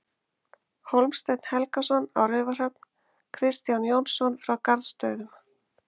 Hólmsteinn Helgason á Raufarhöfn, Kristján Jónsson frá Garðsstöðum